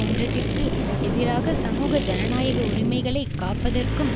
ஒன்றியத்திற்கு எதிராக சமூக ஜனநாயக உரிமைகளை காப்பதற்கும்